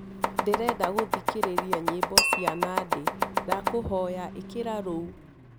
ndĩrenda gũthĩkĩrĩrĩa nyĩmbo cĩa nandy ndakũhoyaĩkĩra ruũ